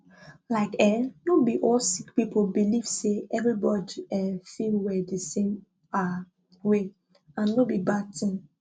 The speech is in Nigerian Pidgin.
like eeh no be all sick people believe say everybody um fit well di same ah way and no be bad tin